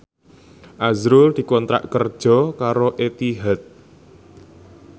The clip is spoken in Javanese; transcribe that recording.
azrul dikontrak kerja karo Etihad